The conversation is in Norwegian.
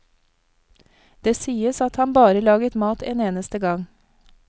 Det sies at han bare laget mat en eneste gang.